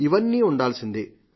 ఇవన్నీ ఉండాల్సిందే